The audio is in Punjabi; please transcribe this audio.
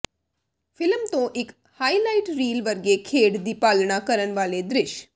ਫ਼ਿਲਮ ਤੋਂ ਇਕ ਹਾਈਲਾਈਟ ਰੀਲ ਵਰਗੇ ਖੇਡ ਦੀ ਪਾਲਣਾ ਕਰਨ ਵਾਲੇ ਦ੍ਰਿਸ਼